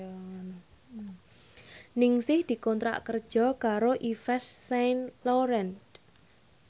Ningsih dikontrak kerja karo Yves Saint Laurent